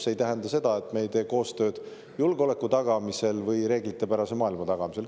See ei tähenda seda, et me ei tee koostööd julgeoleku tagamisel või reeglitepärase maailma tagamisel.